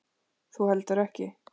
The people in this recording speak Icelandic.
Þú heldur ekki.